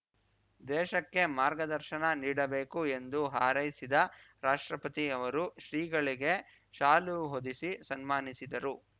ದೇಶಕ್ಕೆ ಮಾರ್ಗದರ್ಶನ ನೀಡಬೇಕು ಎಂದು ಹಾರೈಸಿದ ರಾಷ್ಟ್ರಪತಿ ಅವರು ಶ್ರೀಗಳಿಗೆ ಶಾಲು ಹೊದಿಸಿ ಸನ್ಮಾನಿಸಿದರು